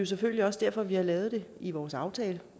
selvfølgelig også derfor at vi har lavet det i vores aftale